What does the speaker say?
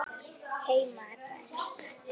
Heima er best.